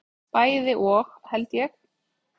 Bæði og held ég.